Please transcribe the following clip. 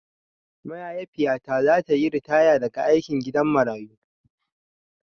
Maiahifiyata zata yi ritaya daga aikin gidan marayu.